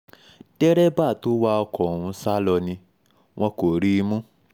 derébà tó wa ọkọ̀ ọ̀hún sá lọ ni wọn kò rí i mú